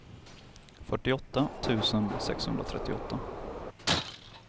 fyrtioåtta tusen sexhundratrettioåtta